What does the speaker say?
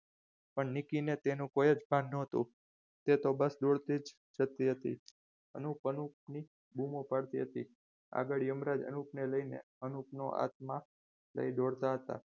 પણ નીકી ને તેનું કોઈ જ ભાગ ન હતું તે તો બસ દોડતી જતી હતી અનુપ અનુપ ની બૂમો પાડતા હતી આગળ એ જ અનુપને લઈને અનુપનો આત્મા દોડતા હતા.